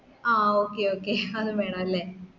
ആ okay okay അതും വേണോല്ലെ